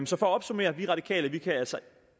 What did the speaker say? så for opsummere vi radikale kan altså